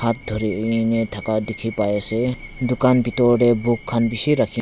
hat dhurikae na thaka dikhipaiase dukan bitor tae book khan bishi rakhina--